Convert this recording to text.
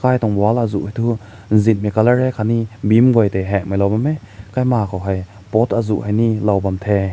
mai düwank wall aazu hi tu zin mai color hai kat ni bim güa tai heng mai lao bam meh khai ma kao hai pot aazu hi ne lao bam teh.